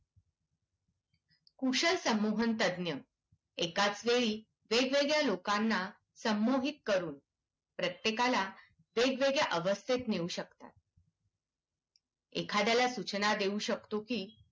कुशल संमोहनतज्ज्ञ एकाच वेळी वेगवेगळ्या लोकांना संमोहित करून प्रत्येकाला वेगवेगळ्या अवस्थेत नेऊ शकतात. एखाद्याला सूचना देऊ शकतो की